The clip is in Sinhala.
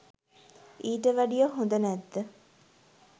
ඊට වැඩිය හොද නැද්ද